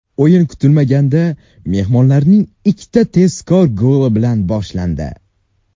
O‘yin kutilmaganda mehmonlarning ikkita tezkor goli bilan boshlandi.